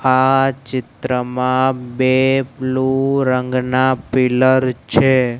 આ ચિત્રમાં બે બ્લુ રંગના પિલર છે.